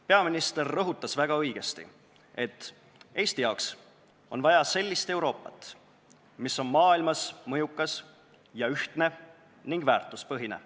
Peaminister rõhutas väga õigesti, et Eestile on vaja sellist Euroopat, mis on maailmas mõjukas, ühtne ning väärtuspõhine.